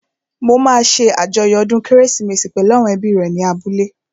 Mo máa ṣé àjọyọ̀ ọdún kérésìmesì pẹ̀lú àwọn ẹbí rẹ̀ ní abúlé